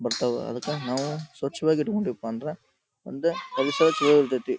But ಆವಾ ಅದಕ್ಕ ನಾವು ಸ್ವಚ್ಛವಾಗಿ ಇಟ್ಕೊಂಡ್ವಿಪ ಅಂದ್ರ ಮುಂದೆ ಪರಿಸರ ಚಲೋ ಇರತೈತಿ.